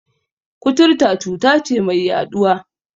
Kuturta cuta ce mai yaɗuwa.